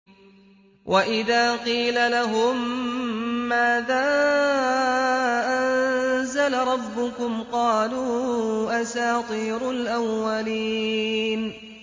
وَإِذَا قِيلَ لَهُم مَّاذَا أَنزَلَ رَبُّكُمْ ۙ قَالُوا أَسَاطِيرُ الْأَوَّلِينَ